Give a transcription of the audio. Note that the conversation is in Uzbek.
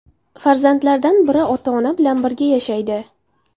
Farzandlardan biri ota-ona bilan birga yashaydi.